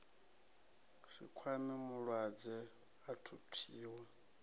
si kwame mulwadze a thuthiwa